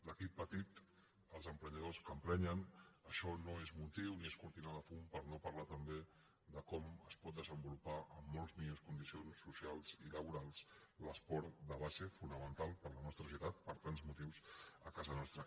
l’equip petit els emprenyadors que emprenen això no és motiu ni és cortina de fum per no parlar també de com es pot desenvolupar amb molt millors con·dicions socials i laborals l’esport de base fonamen·tal per a la nostra societat per tants motius a casa nostra